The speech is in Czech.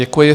Děkuji.